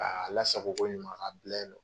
Ka lasago ko ɲuman ka a bila yen non.